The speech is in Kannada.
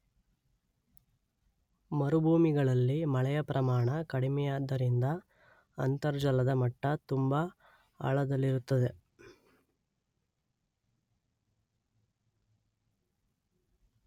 ಮರುಭೂಮಿಗಳಲ್ಲಿ ಮಳೆಯ ಪ್ರಮಾಣ ಕಡಿಮೆಯಾದ್ದರಿಂದ ಅಂತರ್ಜಲದ ಮಟ್ಟ ತುಂಬ ಆಳದಲ್ಲಿರುತ್ತದೆ.